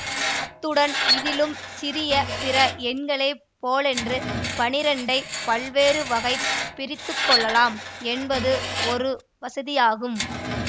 அத்துடன் இதிலும் சிறிய பிற எண்களைப் போலன்று பன்னிரண்டைப் பல்வேறு வகையாகப் பிரித்துக்கொள்ளலாம் என்பது ஒரு வசதியாகும்